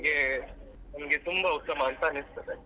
ನಮ್ಗೆ ನಮ್ಗೆ ತುಂಬ ಉತ್ತಮ ಅಂತ ಅನಿಸ್ತದೆ.